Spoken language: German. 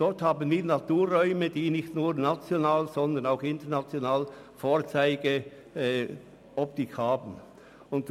Dort haben wir Naturräume, die nicht nur national, sondern international Vorzeigecharakter besitzen.